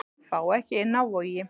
Fá ekki inni á Vogi